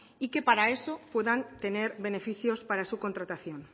y que para eso puedan tener beneficios para su contratación